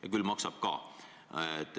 Ja küll maksab ka.